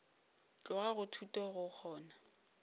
tloga go thuto go kgona